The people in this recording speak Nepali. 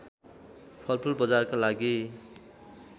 फलफुल बजारका लागि